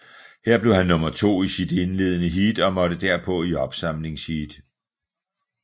Her blev han nummer to i sit indledende heat og måtte derpå i opsamlingsheat